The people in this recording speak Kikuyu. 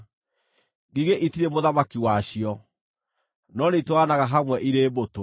ngigĩ itirĩ mũthamaki wacio, no nĩitwaranaga hamwe irĩ mbũtũ;